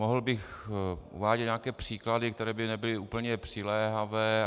Mohl bych uvádět nějaké příklady, které by nebyly úplně přiléhavé.